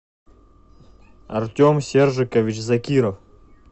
артем сержикович закиров